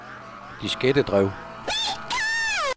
diskettedrev